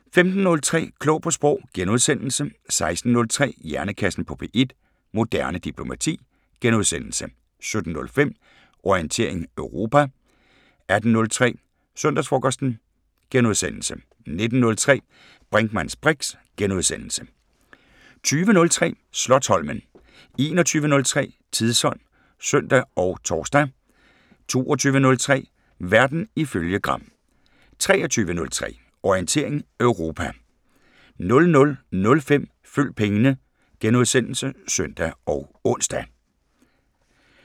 15:03: Klog på Sprog * 16:03: Hjernekassen på P1: Moderne diplomati * 17:05: Orientering Europa 18:03: Søndagsfrokosten * 19:03: Brinkmanns briks * 20:03: Slotsholmen 21:03: Tidsånd (søn og tor) 22:03: Verden ifølge Gram 23:03: Orientering Europa 00:05: Følg pengene *(søn og ons)